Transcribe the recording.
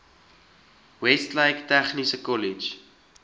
westlake tegniese kollege